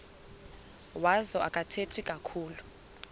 wazo akathethi kakhulu